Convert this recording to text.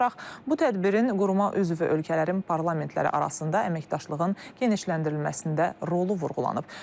bu tədbirin quruma üzv ölkələrin parlamentləri arasında əməkdaşlığın genişləndirilməsində rolu vurğulanıb.